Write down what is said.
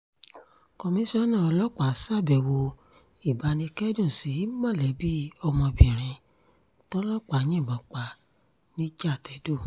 komisanna ọlọ́pàá ṣàbẹ̀wò ìbánikẹ́dùn sí mọ̀lẹ́bí ọmọbìnrin tọlọ́pàá yìnbọn pa nìjàtẹ̀dọ̀